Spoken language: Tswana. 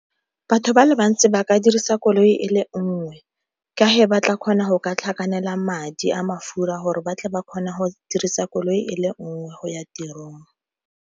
Batho ba le bantsi ba ka dirisa koloi e le nngwe, ka fa ba tla kgona go ka tlhakanela madi a mafura gore ba tle ba kgone go dirisa koloi e le nngwe go ya tirong.